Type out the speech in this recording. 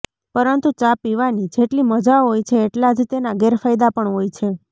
પરંતુ ચા પીવાની જેટલી મજા હોય છે એટલા જ તેના ગેરફાયદા પણ હોય છે